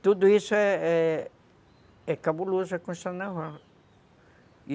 E tudo isso é é cabuloso na Constituição Naval.